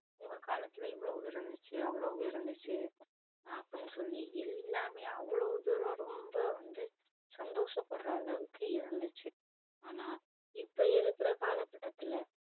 உங்க காலத்துல இவ்ளோ இருந்துச்சி அவ்ளோ இருந்துச்சி அப்டின்னு சொல்லி எல்லாமே அவ்ளோ தூரம் ரொம்பா வந்து சந்தோஷ படுற அளவுக்கு இருந்துச்சி ஆனா இப்போ இருக்குற கால கட்டத்துல்ல